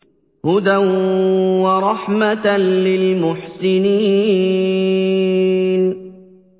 هُدًى وَرَحْمَةً لِّلْمُحْسِنِينَ